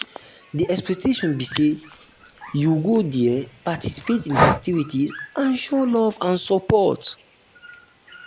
di expectation be say you go dey there participate in di activities and show love and support.